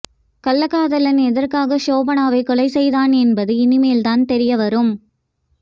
கள்ளக்காதலன் எதற்காக ஷோபனாவை கொலை செய்தான் என்பது இனிமேல்தான் தெரிய வரும்